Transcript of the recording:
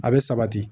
A bɛ sabati